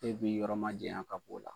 E b'i yɔrɔ ma jaya ka b'o la.